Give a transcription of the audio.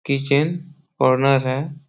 Kitchen corner है।